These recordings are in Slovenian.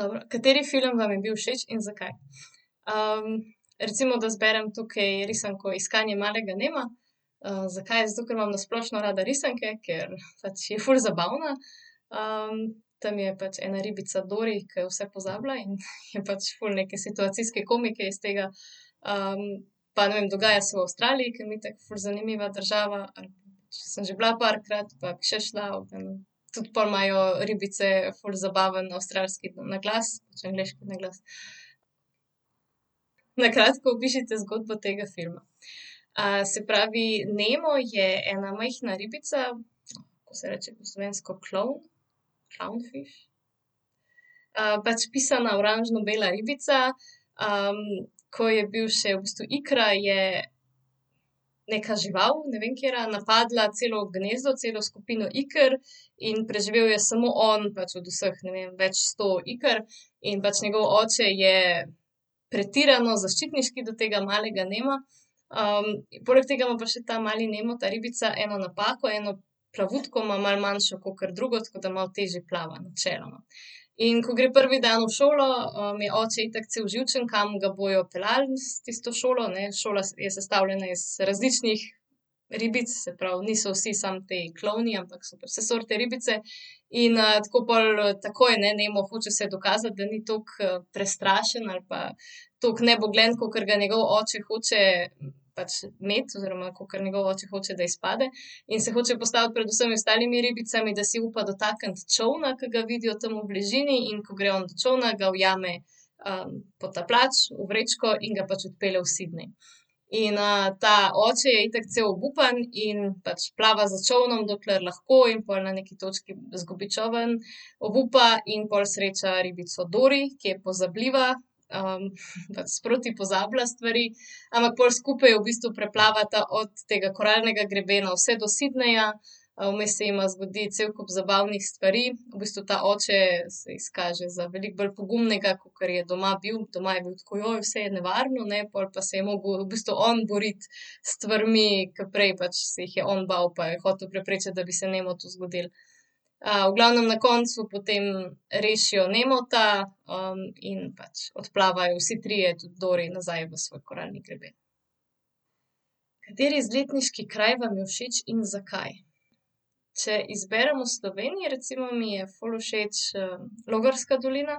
Dobro, kateri film vam je bil všeč in zakaj? recimo, da izberem tukaj risanko Iskanje malega Nema. zakaj? Zato, ker imam na splošno rada risanke, ker pač je ful zabavna. tam je pač ena ribica Dori, ke vse pozablja in je pač ful neke situacijske komike iz tega, pa, ne vem, dogaja se v Avstraliji, ke mi je itak ful zanimiva država, pač sem že bila parkrat pa bi še šla, tudi pol imajo ribice ful zabaven avstralski naglas pač angleški naglas. Na kratko opišite zgodbo tega filma. se pravi, Nemo je ena majhna ribica, kako se reče po slovensko klovn, clown fish? pač pisana oranžno-bela ribica, ko je bil še v bistvu ikra je neka žival, ne vem, katera, napadla celo gnezdo, celo skupino iker in preživel je samo on pač od vseh, ne vem, več sto iker in pač njegov oče je pretirano zaščitniški do tega malega Nema. poleg tega ima pa še ta mali Nemo, ta ribica, eno napako, eno plavutko ima malo manjšo kakor drugo, tako da malo težje plava, načeloma. In ko gre prvi dan v šolo, je oči itak cel živčen, kam ga bojo peljali s tisto šolo, ne, šola je sestavljena iz različnih ribic, se pravi, niso vsi samo ti klovni, ampak so vse sorte ribice in, tako pol, takoj, ne, Nemo hoče se dokazati, da ni tako prestrašen ali pa tako nebogljen, kakor ga njegov oče hoče pač imeti oziroma kakor njegov oče hoče, da izpade. In se hoče postaviti pred vsemi ostalimi ribicami, da si upa dotakniti čolna, ki ga vidijo tam v bližini. In ko gre on do čolna, ga ujame, potapljač v vrečko in ga pač odpelje v Sydney. In, ta oče je itak cel obupan in pač plava za čolnom, dokler lahko in pol na neki točki izgubi čoln, obupa in pol sreča ribico Dori, ki je pozabljiva. pač sproti pozablja stvari, ampak pol skupaj v bistvu preplavata od tega koralnega grebena vse do Sydneyja, vmes se jima zgodi cel kup zabavnih stvari. V bistvu ta oče se izkaže za veliko bolj pogumnega, kakor je doma bil. Doma je bil tako, vse je nevarno, ne, pol se je pa mogel v bistvu on boriti s stvarmi, ke prej pač se jih je on bal pa je hotel preprečiti, da bi se Nemotu zgodilo. v glavnem na koncu potem rešijo Nemota, in pač odplavajo vsi trije, tudi Dori, nazaj v svoj koralni greben. Kateri izletniški vam je všeč in zakaj? Če izberem v Sloveniji, recimo, mi je ful všeč, Logarska dolina.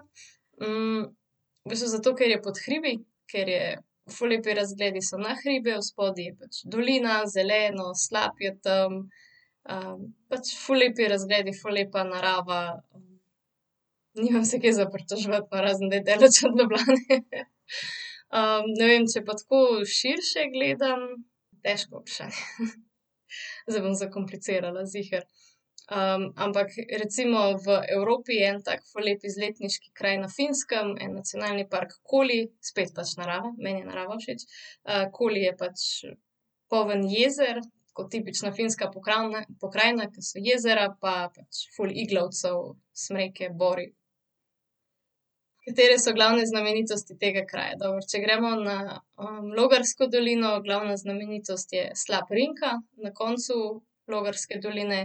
v bistvu zato, ker je pod hribih, ker so ful lepi razgledi so na hribe, spodaj je pač dolina, zeleno, slap je tam. pač ful lepi razgledi, ful lepa narava, nimam se kaj za pritoževati, razen da je daleč od Ljubljane. ne vem, če pa tako širše gledam, težko vprašanje. Zdaj bom zakomplicirala, ziher. ampak recimo v Evropi je en tak ful lep izletniški kraj na Finskem. En nacionalni park Koli, spet pač narava, meni je narava všeč. Koli je pač poln jezer kot tipična finska pokrajina, ke so jezera, pa pač ful iglavcev, smreke, bori. Katere so glavne znamenitosti tega kraja? Dobro, če gremo na, Logarsko dolino, glavna znamenitost je slap Rinka, na koncu Logarske doline.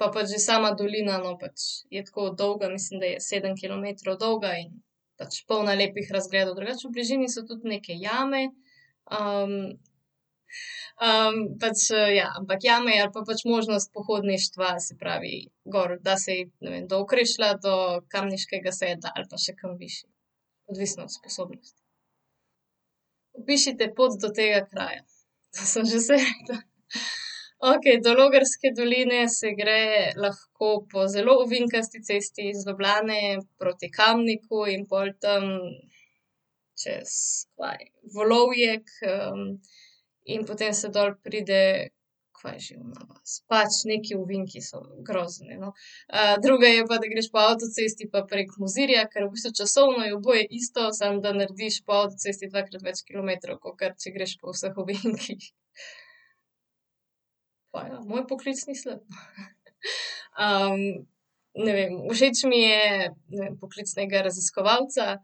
pa pač že sama dolina, no, pač je tako dolga. Mislim, da je sedem kilometrov dolga in pač polna lepih razgledov. Drugače v bližini so tudi neke jame, pač, ja, ampak jame ali pa pač možnost pohodništva, se pravi, gor, da se iti, ne vem, do Okrešlja, do Kamniškega sedla ali pa še kam višje. Odvisno od spodobnosti. Opišite pot do tega kraja. To sem že vse rekla. Okej, do Logarske doline se gre lahko po zelo ovinkasti cesti iz Ljubljane proti Kamniku in pol tam čez Volovjek, in potem se dol pride Kaj je že ona vas? Pač neki ovinki so, grozno je, no. drugo je pa, da greš po avtocesti pa prek Mozirja, ker v bistvu časovno je oboje isto, samo da narediš po avtocesti dvakrat več kilometrov, kakor če greš po vsh ovinkih. Pa ja moj poklic ni slab. ne vem, všeč mi je poklic nekega raziskovalca,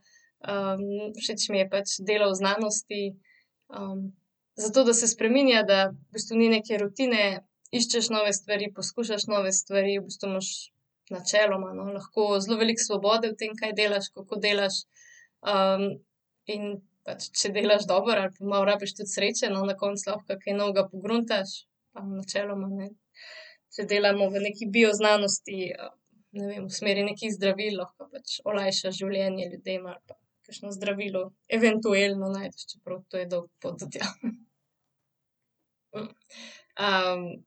všeč mi je pač delo v znanosti. zato, da se spreminja, da v bistvu ni neke rutine, iščeš nove stvari, poskušaš nove stvari, v bistvu imaš načeloma, no, lahko zelo veliko svobode v tem, kaj delaš, kako delaš. in pač, če delaš dobro, ali pa malo rabiš tudi sreče, no, na koncu lahko kaj novega pogruntaš. Pa načeloma, ne. Če delamo v nekaj bioznanosti, ne vem, v smeri nekih zdravil, lahko pač olajšaš življenje ljudem ali pa kakšno zdravilo eventuelno najdeš, čeprav to je dolga pot do tja.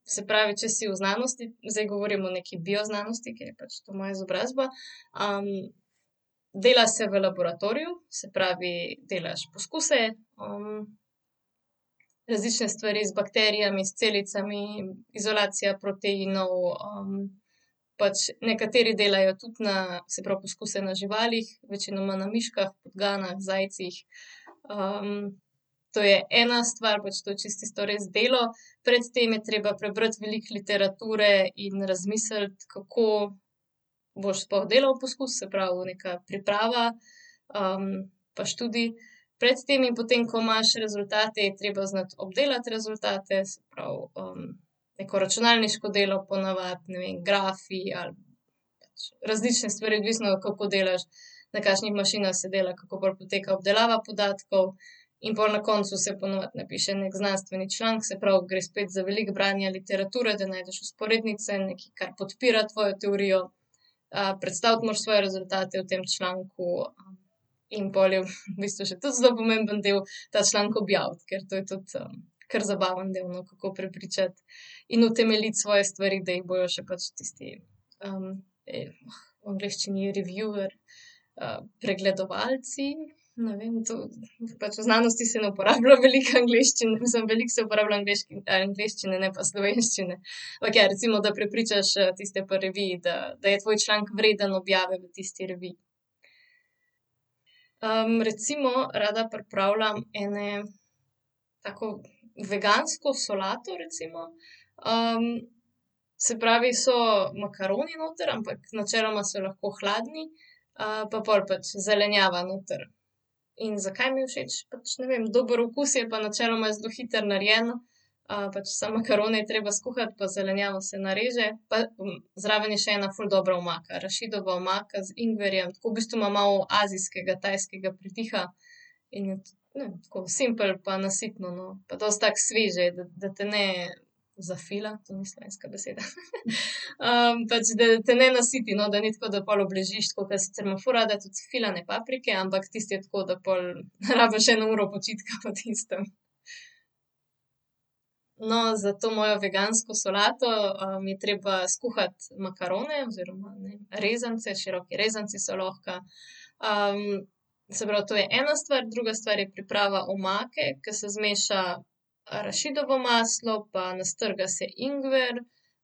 se pravi, če si v znanosti. Zdaj govorim o neki bioznanosti, ker je pač to moja izobrazba, dela se v laboratoriju, se pravi delaš poskuse, različne stvari z bakterijami, s celicami, izolacija proteinov, pač nekateri delajo tudi na, se pravi, poskuse na živalih. Večinoma na miškah, podganah, zajcih. to je ena stvar, pač to je čisto tisto res delo, pred tem je treba prebrati veliko literature in razmisliti, kako boš sploh delal poskus, se pravi, neka priprava. pa študij pred tem in potem, ko imaš rezultate, je treba znati obdelati rezultate, se pravi, neko računalniško delo, po navadi, ne vem, grafi ali pač različne stvari, odvisno, kako delaš. Na kakšnih mašinah se dela, kako pol poteka obdelava podatkov in pol na koncu se po navadi napiše neki znanstveni članek. Se pravi, gre spet za veliko branja literature, da najdeš vzporednice, nekaj, kar podpira tvojo teorijo. predstaviti moraš svoje rezultate v tem članku in pol je v bistvu še tudi zelo pomemben del, ta članek objaviti, ker to je tudi, kar zabaven del, no, kako prepričati in utemeljiti svoje stvari, da jih bojo še pač tisti, v angleščini je reviewer, pregledovalci. Ne vem, to, pač v znanosti se ne uporablja veliko mislim, velik se uporablja angleščine, ne pa slovenščine. Okej, recimo, da prepričaš, tiste pri reviji, da, da je tvoj članek vreden objave v tisti reviji. recimo rada pripravljam eno tako vegansko solato, recimo. se pravi, so makaroni noter, ampak načeloma so lahko hladni. pa pol pač zelenjava noter in zakaj mi je všeč? Pač, ne vem, dober okus je pa načeloma je zelo hitro narejena. pač samo makarone je treba skuhati pa zelenjavo se nareže pa zraven je še ena ful dobra omaka. Arašidova omaka z ingverjem, tako v bistvu ima malo azijskega, tajskega pridiha. In je to, ne vem, simpel, pa nasitno, no. Pa dosti tako sveže, da te ne zafila, to ni slovenska beseda. pač da te ne nasiti, no, da ni tako, da obležiš, tako ke sicer imam ful rada tudi filane paprike, ampak tisto je tako, da pol rabiš eno uro počitka po tistem. No, za to mojo vegansko solato, je treba skuhati makarone oziroma rezance, široki rezanci so lahko. se pravi, to je ena stvar, druga stvar je priprava omake, ke se zmeša arašidovo maslo pa nastrga se ingver,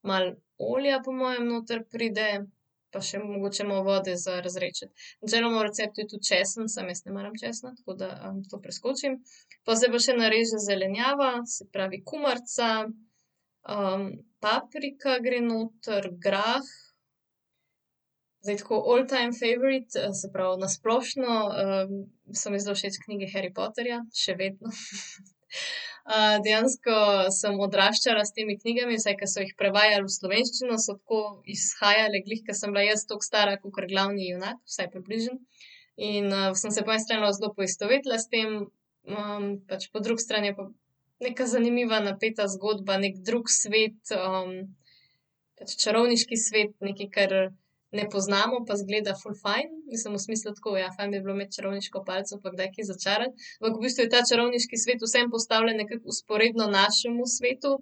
malo olja po mojem noter pride. Pa še mogoče malo vode za razredčiti. Načeloma v receptu je tudi česen, samo jaz ne maram česna, tako da, to preskočim. Pol se pa še nareže zelenjava, se pravi kumarica, paprika gre noter, grah, zdaj tako all time favorite, se pravi, na splošno, so mi zelo všeč knjige Harry Potterja. Še vedno. Dejansko sem odraščala s temi knjigami, saj ke so jih prevajali v slovenščino so tako izhajale glih, ke sem bila jaz toliko stara kakor glavni junak, vsaj približno. In, sem se po eni strani zelo poistovetila s tem, pač po drugi strani je pa neka zanimiva, napeta zgodba. Neki drug svet, pač čarovniški svet, nekaj, kar ne poznano pa izgleda ful fajn. Mislim v smislu tako, ja, fajn bi bilo imeti čarovniško palico pa kdaj kaj začarati. Ampak v bistvu je ta čarovniški svet vseeno postavljen nekam vzporedno našemu svetu,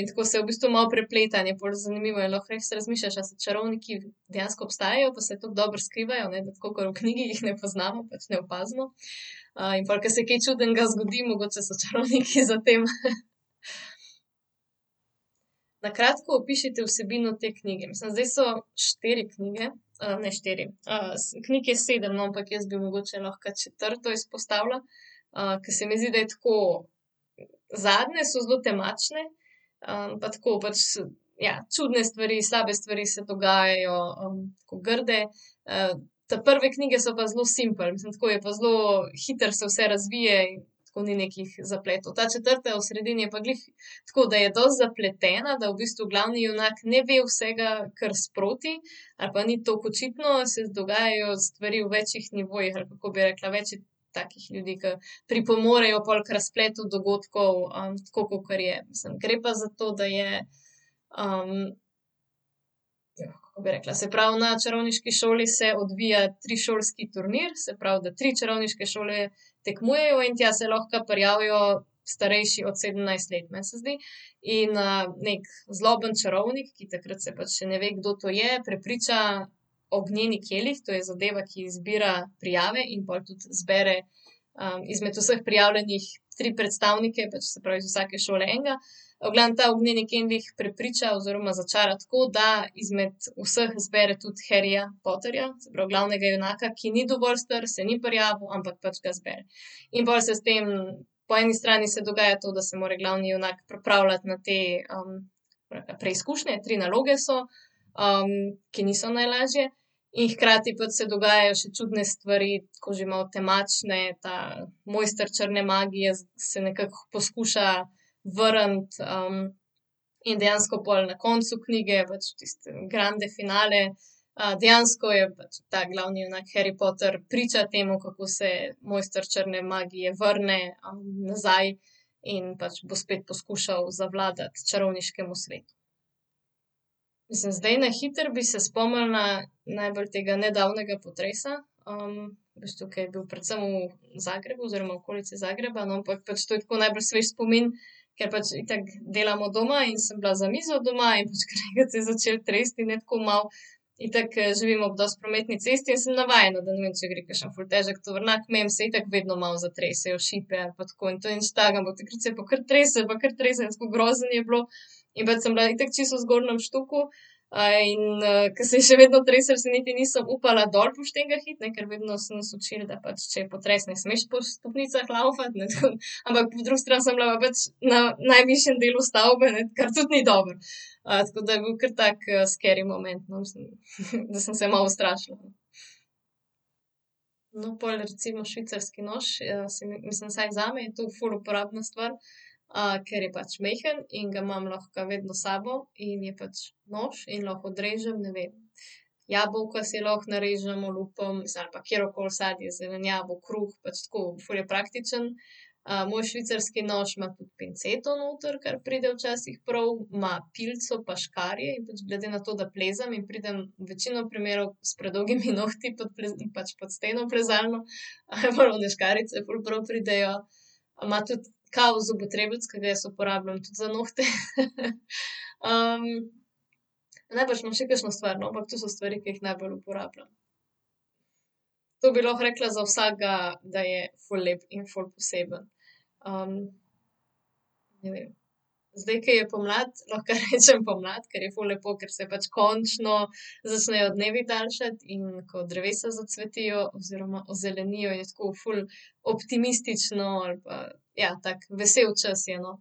in tako se v bistvu malo prepleta in je pol zanimivo in lahko res razmišljaš, ali so čarovniki dejansko obstajajo pa se tako dobro skrivajo, ne. Tako kakor v knjigi jih ne poznamo, pač ne opazimo. in pol, ke se kaj čudnega zgodi, mogoče so čarovniki za tem. Na kratko opišite vsebino te knjige. Mislim, zdaj so štiri knjige, ne štiri, knjig je sedem, no, ampak jaz bi mogoče lahko četrto izpostavila. ke se mi zdi, da je tako, zadnje so zelo temačne, pa tako pač, ja, čudne stvari, slabe stvari se dogajajo, tako grde. ta prve knjige so pa zelo simpel. Mislim, tako je pa zelo hitro se vse razvije, tako ni nekih zapletov. Ta četrta je v sredini je pa glih tako, da je dosti zapletena, da v bistvu glavni junak ne ve vsega kar sproti ali pa ni toliko očitno, se dogajajo stvari v večih nivojih, ali kako bi rekla, več je takih ljudi, ke pripomorejo pol k razpletu dogodkov. tako kakor je. Gre pa za to, da je, kako bi rekla. Se pravi, na čarovniški šoli se odvija trišolski turnir. Se pravi, da tri čarovniške šole tekmujejo in tja se lahko prijavijo starejši od sedemnajst let, meni se zdi. In, neki zloben čarovnik, ki takrat se pač še ne ve, kdo to je, prepriča ognjeni kelih, to je zadeva, ki izbira prijave in pol tudi zbere, izmed vseh prijavljenih tri predstavnike, pač, se pravi, iz vsake šole enega. V glavnem ta ognjeni kelih prepriča oziroma začara tako, da izmed vseh izbere tudi Harryja Potterja, se pravi glavnega junaka, ki ni dovolj star, se ni prijavil, ampak pač ga izbere. In pol se s tem po eni strani se dogaja to, da se mora glavni junak pripravljati na te preizkušnje, tri naloge so, ki niso najlažje, in hkrati pač se dogajajo še čudne stvari, tako že malo temačne, ta mojster črne magije se nekako poskuša vrniti, in dejansko pol na koncu knjige pač tisti grande finale, dejansko je pač ta glavni junak Harry Potter priča temu, kako se mojster črne magije vrne, nazaj, in pač bo spet poskušal zavladati čarovniškemu svetu. Mislim zdaj na hitro bi se spomnila najbolj tega nedavnega potresa, veš to, ke je bil predvsem v Zagrebu oziroma okolica Zagreba, no, ampak to je tako najbolj svež spomin, ker pač itak delam od doma in sem bila za mizo doma in pač kar naenkrat se je začelo tresti in je tako malo, itak, živimo ob dosti prometni cesti, jaz sem navajena, da, ne vem, če gre kakšen ful težek tovornjak mimo, se itak vedno malo zatresejo šipe ali pa tako in to ni nič takega, ampak takrat se je pa kar treslo pa kar treslo, grozno je bilo. In pač sem bila itak čisto v zgornjem štuku, in ko se je še vedno treslo, se niti nisem upala dol po štengah iti, ne, ker vedno so nas učili, da pač, če je potres, ne smeš po stopnicah lavfati, ne, ampak po drugi strani sem bila pa pač na najvišjem delu stavbe, ne, kar tudi ni dobro. tako da je bil kar tako, scary moment, no, mislim da sem se malo ustrašila. No, pol recimo švicarski nož, se mi, mislim, vsaj zame je to ful uporabna stvar, ker je pač majhen in ga imam lahko vedno s sabo in je pač nož in lahko odrežem, ne vem, jabolka si lahko narežem, olupim, mislim, ali pa katerokoli sadje, zelenjavo, kruh pač tako ful je praktično. moj švicarski nož ima tudi pinceto noter, kar pride včasih prav, ima pilico pa škarje in pač glede na to, da plezam in pridem večino primerov s predolgimi nohti pod pač pod steno plezalno, pol one škarjice ful prav pridejo. ima tudi kao zobotrebec, ke ga jaz uporabljam tudi za nohte, Najbrž imam še kakšno stvar, no, ampak to so stvari, ke jih najbolj uporabljam. To bi lahko rekla za vsakega, da je ful lep in ful poseben. ne vem, zdaj, ke je pomlad, lahko rečem pomlad, ker je ful lepo, ker se pač končno začnejo dnevi daljšati in ko drevesa zacvetijo oziroma ozelenijo, je tako ful optimistično ali pa, ja, tako vesel čas je, no.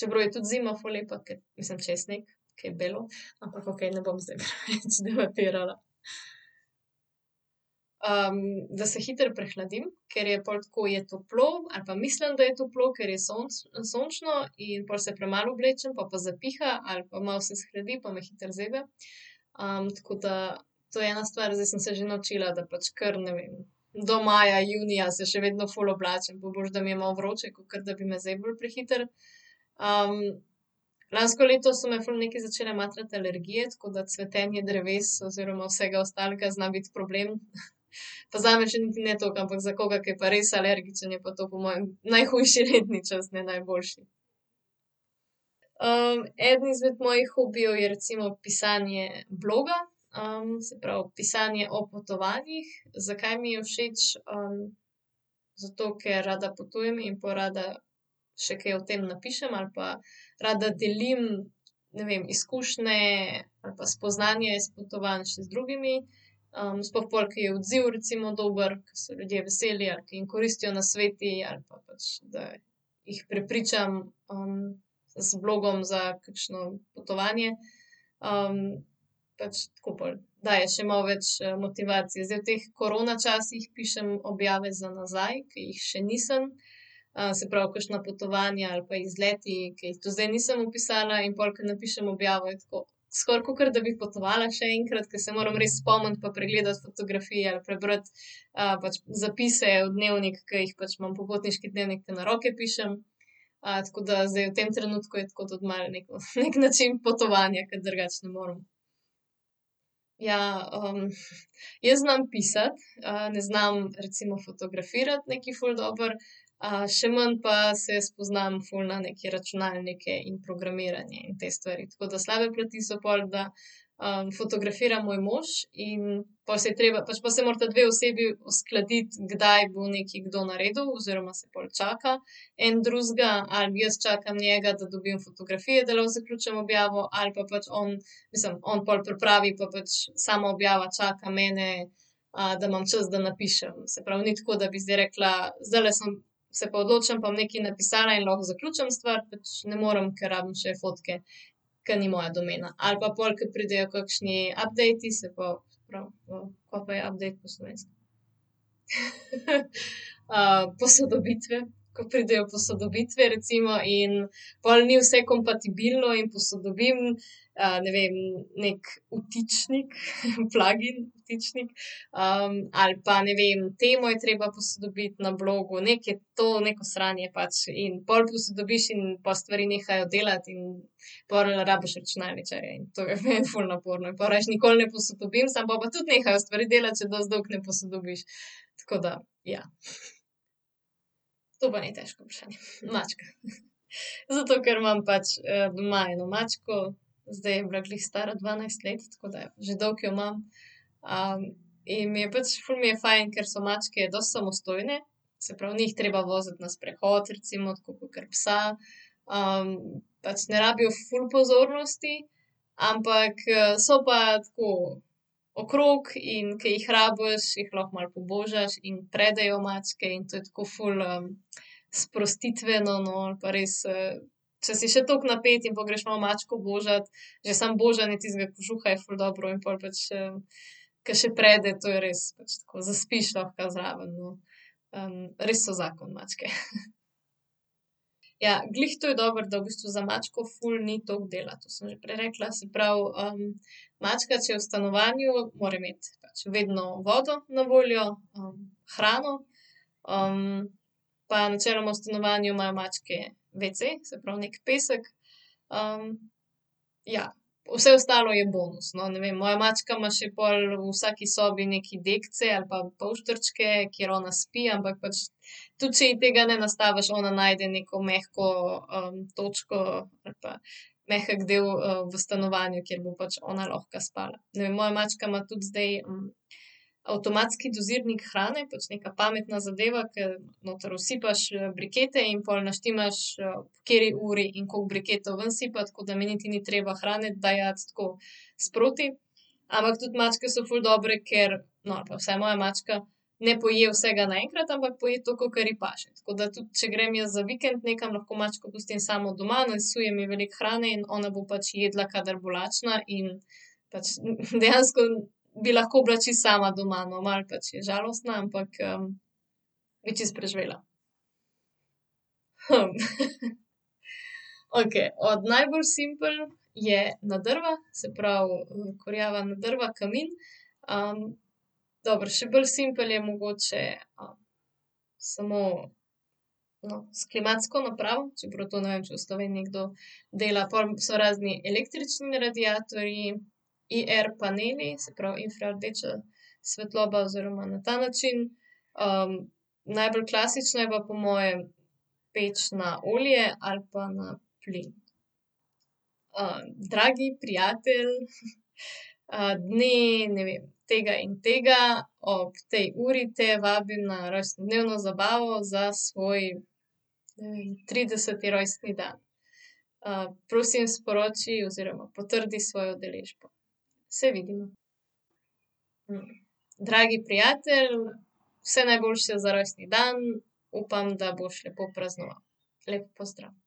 čeprav je tudi zima ful lepa, ker, mislim, če je sneg, ke je belo, ampak okej, ne bom zdaj preveč debatirala. da se hitro prehladim, ker je pol tako je toplo, ali pa mislim, da je toplo, ker je sončno in pol se premalo oblečem pol pa zapiha ali pa malo se shladi pa me hitro zebe. tako da to je ena stvar, zdaj sem se že naučila, da pač kar, ne vem, do maja, junija se še vedno ful oblačim, bo boljše, da mi je malo vroče, kakor da bi me zeblo prehitro. lansko leto so me ful nekaj začele matrati alergije, tako da cvetenje dreves oziroma vsega ostalega zna biti problem. Pa zame še niti ne toliko, ampak za koga, ki je pa res alergičen, je pa to po mojem najhujši letni čas, ne najboljši. eden izmed mojih hobijev je recimo pisanje bloga. se pravi, pisanje o potovanjih. Zakaj mi je všeč, zato, ker rada potujem in pol rada še kaj o tem napišem ali pa rada delim, ne vem, izkušnje ali pa spoznanje iz potovanj še z drugimi, sploh pol, ke je odziv recimo dober, ke so ljudje veseli ali ke jim koristijo nasveti ali pa pač, da jih prepričam, z blogom za kakšno potovanje. pač tako pol daje še malo več motivacije. Zdaj v teh korona časih pišem objave za nazaj, ke jih še nisem. se pravi, kakšna potovanja ali pa izleti, ke jih tudi zdaj nisem opisala, in pol ke napišem objavo, je tako skoraj, kakor da bi potovala še enkrat, ker se moram res spomniti pa pregledati fotografije ali prebrati, pač zapise v dnevniku, ke jih pač imam popotniški dnevnik, ke na roke pišem. tako da zdaj v tem trenutku je tako tudi malo neki način potovanja, ker drugače ne morem. Ja, jaz znam pisati, ne znam recimo fotografirati nekaj ful dobro. še manj pa se spoznam ful na neke računalnike in programiranje in te stvari, tako da slabe plati so pol, da, fotografira moj mož in pol se je treba, pač se morata dve osebi uskladiti, kdaj bo nekaj kdo naredil, oziroma se pol čaka en drugega, ali jaz čakam njega, da dobim fotografije, da lahko zaključim objavo, ali pa pač on, mislim, on pol pripravi pa pač sama objava čaka mene, da imam čas, da napišem. Se pravi, ni tako, da bi zdaj rekla: "Zdajle sem, se pa odločim pa bom nekaj napisala in lahko zaključim stvar." Pač ne morem, ker rabim še fotke. Ke ni moja domena, ali pa pol, ko pridejo kakšni updati, se pa se pravi, kaj pa je update po slovensko? posodobitve, ko pridejo posodobitve recimo in pol ni vse kompatibilno in posodobim, ne vem, neki vtičnik, plugin, vtičnik, ali pa, ne vem, temo je treba posodobiti na blogu nekaj, to neko sranje pač in pol posodobiš in pol stvari nehajo delati in pol rabiš računalničarja in to je meni ful naporno in pol rajši nikoli ne posodobim, samo pol pa tudi nehajo stvari delati, če dosti dolgo ne posodobiš, tako da, ja. To pa ni težko vprašanje, mačka. Zato, ker imam pač, doma eno mačko. Zdaj je bila glih stara dvanajst let, tako da že dolgo jo imam. in mi je pač ful mi je fajn, ker so mačke dosti samostojne. Se pravi, ni jih treba voziti na sprehod recimo tako kakor psa. pač ne rabijo ful pozornosti, ampak, so pa tako okrog, in ke jih rabiš, jih lahko malo pobožaš in predejo mačke in to je tako ful, sprostitveno, no, ali pa res, če si še tako napet in pol greš malo mačko božat, že samo božanje tistega kožuha je ful dobro in pol pač, ke še prede, to je res pač tako zaspiš lahko zraven, no. res so zakon, mačke. Ja, glih to je dobro, da v bistvu za mačko ful ni toliko dela. To sem že prej rekla, se pravi, mačka, če je v stanovanju, more imeti pač vedno vodo na voljo, hrano, pa načeloma v stanovanju imajo mačke wc, se pravi, neki pesek. ja. Vse ostalo je bonus, no, ne vem. Moja mačka ima še pol v vsaki sobi neke dekice ali pa povšterčke, kjer ona spi, ampak pač tudi če ji tega ne nastaviš, ona najde neko mehko, točko ali pa mehek del, v stanovanju, kjer bo pač ona lahko spala. Ne vem, moja mačka ima tudi zdaj avtomatski dozirnik hrane, pač neka pametna zadeva, ke noter usipaš, brikete in pol naštimaš, ob kateri uri in koliko briketov ven sipati, tako da mi niti ni treba hrane dajati tako sproti. Ampak tudi mačke so ful dobre, ker, no, ali pa vsaj moja mačka ne poje vsega naenkrat, ampak poje toliko, kolikor ji paše, tako da tudi, če grem jaz za vikend nekam, lahko mačko pustim samo doma, nasujem ji veliko hrane in ona bo pač jedla, kadar bo lačna in pač dejansko bi lahko bila čisto sama doma, no, malo pač je žalostna, ampak, bi čisto preživela. okej, od najbolj simpel je na drva, se pravi, kurjava na drva, kamin. dobro še bolj simpel je mogoče, samo, no, s klimatsko napravo, čeprav to, ne vem, če v Sloveniji kdo dela, pol so razni električni radiatorji, IR-paneli, se pravi, infra rdeča svetloba oziroma na ta način. najbolj klasična je pa po mojem peč na olje ali pa na plin. dragi prijatelj, dne, ne vem, tega in tega, ob tej uri te vabim na rojstnodnevno zabavo za svoj, ne vem, trideseti rojstni dan. prosim sporoči oziroma potrdi svojo udeležbo. Se vidimo. Dragi prijatelj, vse najboljše za rojstni dan upam, da boš lepo praznoval. Lep pozdrav.